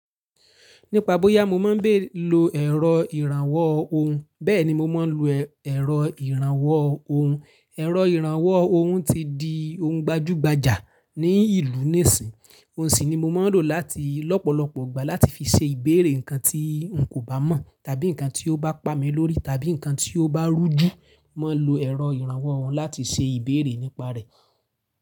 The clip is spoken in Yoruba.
Nípa bóyá mo máa ń bé lo ẹ̀rọ ìrànwọ́ ohùn, bẹ́ẹ̀ni mo máa ń lo ẹ̀rọ ìrànwọ́ ohùn. Ẹ̀rọ ìrànwọ́ ohùn ti di ohun gbajúgbajà ní ìlú nísìí. Òun sì ni mo máa ń lò láti lọ́pọ̀lọpọ̀ ìgbà láti fi ṣe ìbéèrè nǹkan tí n kò bá mọ̀, tàbí nǹkan tí ó bá pa mi lórí, tàbí nǹkan tí ó bá rújú. Mo máa ń lo ẹ̀rọ ìrànwọ́ ohùn láti ṣe ìbéèrè nípa rẹ̀.